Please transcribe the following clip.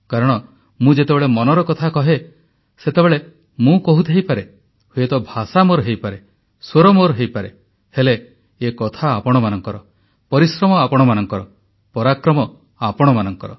କାରଣ ମୁଁ ଯେତେବେଳେ ମନର କଥା କହେ ସେତେବେଳେ ମୁଁ କହୁଥାଇପାରେ ହୁଏତ ଭାଷା ମୋର ହୋଇପାରେ ସ୍ୱର ମୋର ହୋଇପାରେ ହେଲେ ଏ କଥା ଆପଣମାନଙ୍କର ପରିଶ୍ରମ ଆପଣମାନଙ୍କର ପରାକ୍ରମ ଆପଣମାନଙ୍କର